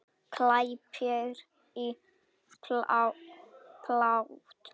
Klæddri í blátt.